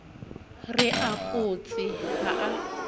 a re photse ha a